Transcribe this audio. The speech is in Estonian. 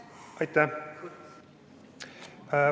Aitäh!